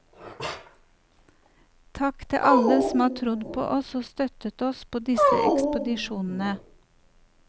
Takk til alle som har trodd på oss og støttet oss på disse ekspedisjonene.